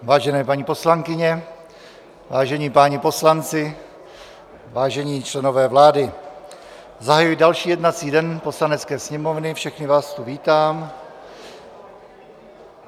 Vážené paní poslankyně, vážení páni poslanci, vážení členové vlády, zahajuji další jednací den Poslanecké sněmovny, všechny vás tu vítám.